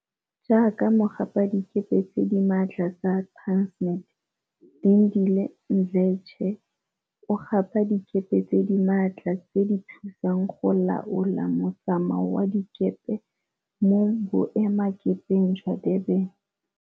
Jaaka mogapadikepe tse di maatla tsa Transnet, Lindile Mdletshe, 30, o gapa dikepe tse di maatla tse di thusang go laola mo tsamao wa dikepe mo Boe makepeng jwa Durban.